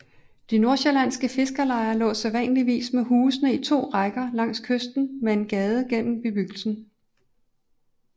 De nordsjællandske fiskerlejer lå sædvanligvis med husene i to rækker langs kysten med en gade gennem bebyggelsen